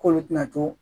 K'olu tɛna to